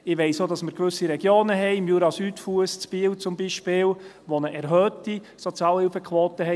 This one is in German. Ich weiss auch, dass wir gewisse Regionen haben, am Jura-Südfuss in Biel beispielsweise, die eine erhöhte Sozialhilfequote haben.